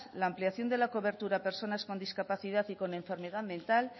la ampliación de la cobertura a personas con discapacidad y con enfermedad mental